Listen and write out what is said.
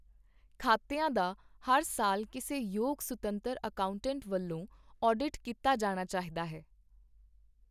ਖਾਤਿਆਂ ਦਾ ਹਰ ਸਾਲ ਕਿਸੇ ਯੋਗ ਸੁਤੰਤਰ ਅਕਾਊਂਟੈਂਟ ਵੱਲੋਂ ਆਡਿਟ ਕੀਤਾ ਜਾਣਾ ਚਾਹੀਦਾ ਹੈ।